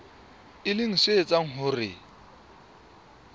e leng se etsang hore